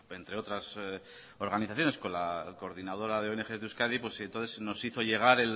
entre otras organizaciones con la coordinadora de ongs de euskadi entonces nos hizo llegar